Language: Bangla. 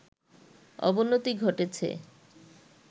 অবনতি ঘটেছে